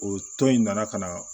O tɔn in nana ka na